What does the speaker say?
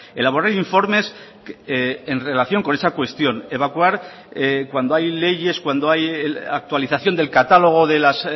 elaborar informes en relación con esa cuestión evacuar cuando hay leyes cuando hay actualización del catálogo de las